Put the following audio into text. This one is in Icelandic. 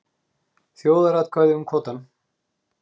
Þjóðaratkvæði um kvótann